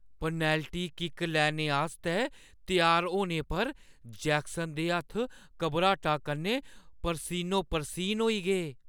Penalty kick लैने आस्तै त्यार होने पर जैक्सन दे हत्थ घबराटा कन्नै परसीनो-परसीन होई गे।